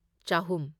ꯆꯍꯨꯝ